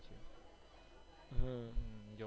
હમ